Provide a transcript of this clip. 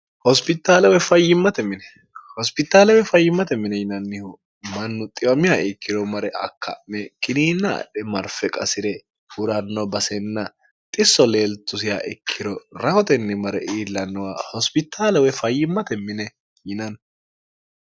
hospitaalawe fayyimmate mine yinannihu mannu xiwamiha ikkiro mare akka'me kiniinna adhe marfe qasi're huranno basenna xisso leeltusiha ikkiro rahotenni mare iillannowa hospitaalawe fayyimmate mine yinanni